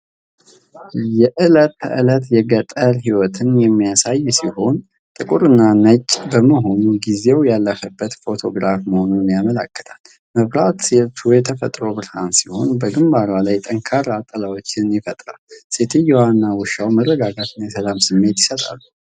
የዕለት ተዕለት የገጠር ሕይወትን የሚያሳይ ሲሆን፣ ጥቁር እና ነጭ በመሆኑ ጊዜው ያለፈበት ፎቶግራፍ መሆኑን ያመለክታል። መብራቱ የተፈጥሮ ብርሃን ሲሆን በግንባሩ ላይ ጠንካራ ጥላዎችን ይፈጥራል። ሴትየዋ እና ውሻው የመረጋጋት እና የሰላም ስሜት ይሰጣሉ።